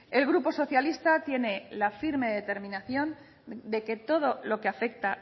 el grupo socialista tiene la firme determinación de que todo lo que afecta